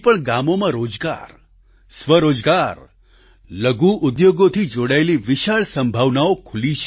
ગામોમાં રોજગાર સ્વરોજગાર લઘુ ઉદ્યોગોથી જોડાયેલી વિશાળ સંભાવનાઓ ખુલી છે